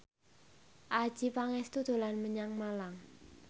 Adjie Pangestu dolan menyang Malang